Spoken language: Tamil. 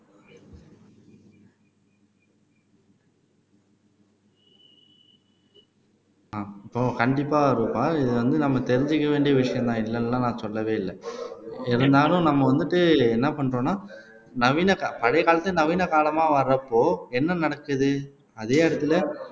இப்போ கண்டிப்பா ரூபா இது வந்து நம்ம தெரிஞ்சுக்க வேண்டிய விஷயம்தான் இல்லைன்னு எல்லாம் நான் சொல்லவே இல்லை இருந்தாலும் நம்ம வந்துட்டு என்ன பண்றோம்னா நவீன க பழைய காலத்து நவீன காலமா வர்றப்போ என்ன நினைச்சது அதே இடத்துல